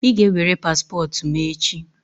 I ga-ewere paspọtụ m echi!